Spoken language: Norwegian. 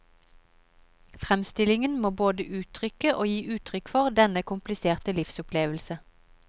Fremstillingen må både uttrykke og gi uttrykk for denne kompliserte livsopplevelse.